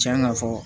Tiɲan ka fɔ